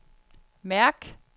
mærk